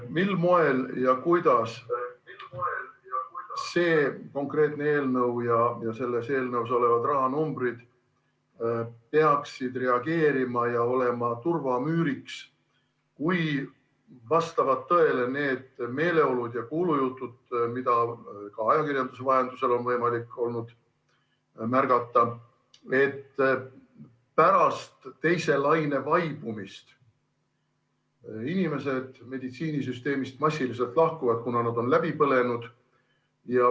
Mil moel ja kuidas see konkreetne eelnõu ja selles eelnõus olevad rahanumbrid peaksid reageerima ja olema turvamüüriks, kui vastavad tõele need meeleolud ja kuulujutud, mida ajakirjanduse vahendusel on võimalik olnud märgata, et pärast teise laine vaibumist töötajad meditsiinisüsteemist massiliselt lahkuvad, kuna nad on läbi põlenud?